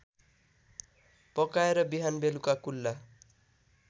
पकाएर बिहानबेलुका कुल्ला